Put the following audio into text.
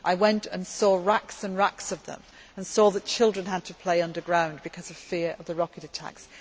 into Israel. I went and saw racks and racks of them, and I saw that children had to play underground because of fear of the rocket